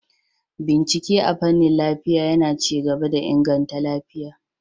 Bincike a fanin lafiya yAna ci gaba da inganta lafiya